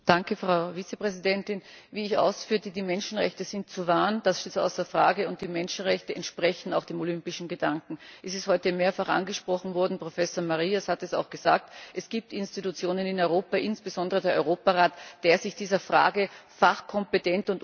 Wie ich ausführte, sind die Menschenrechte zu wahren, das steht außer Frage, und die Menschenrechte entsprechen auch dem olympischen Gedanken. Es ist heute mehrfach angesprochen worden, Professor Marias hat es auch gesagt Es gibt Institutionen in Europa, insbesondere den Europarat, die sich dieser Frage fachkompetent und umfassend widmen können.